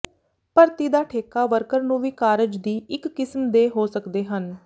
ਭਰਤੀ ਦਾ ਠੇਕਾ ਵਰਕਰ ਨੂੰ ਵੀ ਕਾਰਜ ਦੀ ਇੱਕ ਕਿਸਮ ਦੇ ਹੋ ਸਕਦੇ ਹਨ